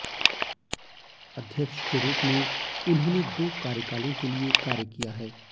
अध्यक्ष के रूप में उन्होंने दो कार्यकालों के लिए कार्य किया है